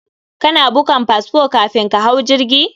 Kana bukan fasfo kafin ka hau jirgi?